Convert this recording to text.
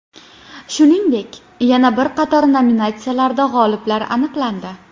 Shuningdek, yana bir qator nominatsiyalarda g‘oliblar aniqlandi: !